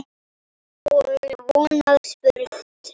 Og von að spurt sé.